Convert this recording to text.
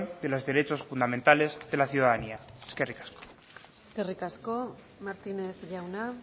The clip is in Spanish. de los derechos fundamentales de la ciudadanía eskerrik asko eskerrik asko martínez jauna